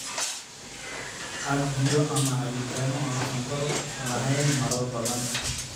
Cab biyo ama cabitaan aan sonkor lahayn marar badan.